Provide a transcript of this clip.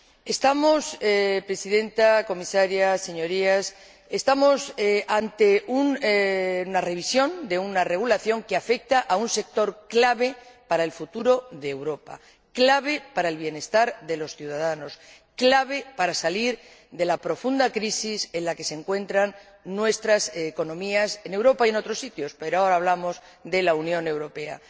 Estamos, señora Presidenta, señora Comisaria, Señorías, ante una revisión de una regulación que afecta a un sector clave para el futuro de Europa, clave para el bienestar de los ciudadanos, clave para salir de la profunda crisis en la que se encuentran nuestras economías, en Europa y en otros sitios, pero ahora hablamos de la Unión Europea.